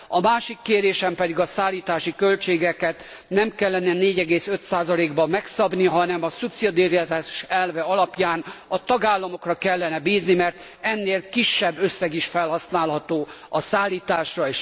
A másik kérésem pedig a szállítási költségeket nem kellene 4,5 ban megszabni, hanem a szubszidiaritás elve alapján a tagállamokra kellene bízni, mert ennél kisebb összeg is felhasználható a szállításra.